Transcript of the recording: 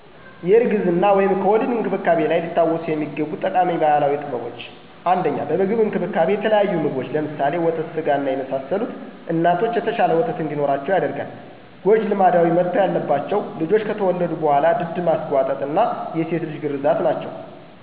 የእርግዝና/ከወሊድ እንክብካቤ ላይ ሊታወሱ የሚገቡ ጠቃሚ ባህላዊ ጥበቦች - 1 በምግብ እንክብካቤ - የተለያዩ ምግቦች (ለምሳሌ፣ ወተት ስጋ፣ የመሳሰሉት) እናቶች የተሻለ ወተት እንዲኖራቸው ያደርጋል። ሰ ጎጂ ልማዶች መተው ያለባቸው -- ልጆች ከተወለዱ በኋላ ድድ ማሰጓጠጥ እና የሴት ልጅ ግርዛት ናቸው።